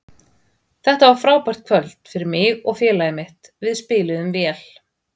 Þetta var frábært kvöld fyrir mig og félagið mitt, við spiluðum vel.